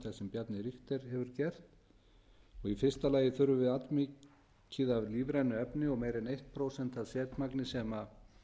sem bjarni richter hefur gert í fyrsta lagi þurfum við allmikið af lífrænu efni og meira en eitt prósent af setmagni sem